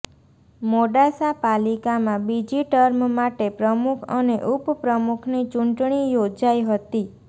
મોડાસા પાલિકામાં બીજી ટર્મ માટે પ્રમુખ અને ઉપપ્રમુખની ચૂંટણી યોજાઈ હતી